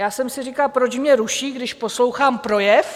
Já jsem si říkala, proč mě ruší, když poslouchám projev?